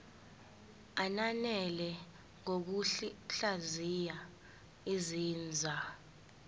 ananele ngokuhlaziya izinzwa